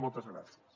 moltes gràcies